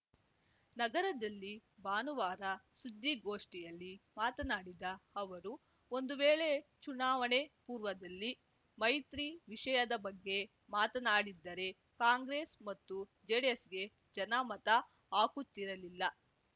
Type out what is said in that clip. ನಗರದಲ್ಲಿ ಭಾನುವಾರ ಸುದ್ದಿಗೋಷ್ಠಿಯಲ್ಲಿ ಮಾತನಾಡಿದ ಅವರು ಒಂದು ವೇಳೆ ಚುನಾವಣೆ ಪೂರ್ವದಲ್ಲಿ ಮೈತ್ರಿ ವಿಷಯದ ಬಗ್ಗೆ ಮಾತಾಡಿದ್ದರೆ ಕಾಂಗ್ರೆಸ್‌ ಮತ್ತು ಜೆಡಿಎಸ್‌ಗೆ ಜನ ಮತ ಹಾಕುತ್ತಿರಲಿಲ್ಲ